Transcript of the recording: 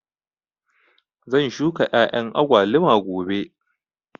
Zan shuka ƴaƴan agwaluma gobe